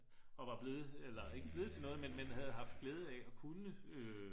og var blevet eller ikke blevet til noget men havde haft glæde af at kunne